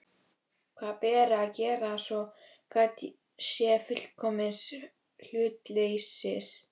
Hvað beri að gera, svo gætt sé fullkomins hlutleysis?